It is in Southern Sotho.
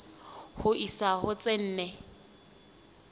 ho isa ho tse nne